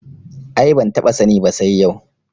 Ai ban taɓa sani ba sai yau